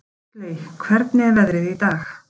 Huxley, hvernig er veðrið í dag?